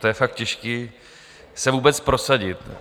To je fakt těžký se vůbec prosadit.